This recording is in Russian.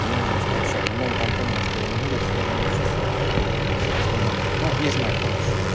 ну скачай на новом компе может я не буду с тобой ну не знаю короче